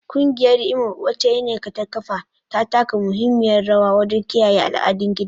Kungiyar Imo, wacce Nneka ta kafa, ta taka muhimmiyar rawa wajen kiyaye al'adun gida.